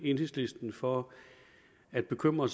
enhedslisten for at bekymre